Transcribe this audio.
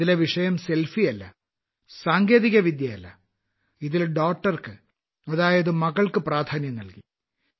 ഇതിലെ വിഷയം സെൽഫിയല്ല സാങ്കേതികവിദ്യയല്ല ഇതിൽ daughterക്ക് അതായത് മകൾക്ക് പ്രാധാന്യം നൽകി